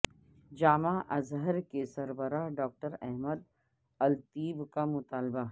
جامعہ Azhar کے سربراہ doctor Ahmed الطیب کا مطالبہ